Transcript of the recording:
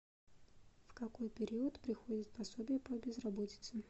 в какой период приходит пособие по безработице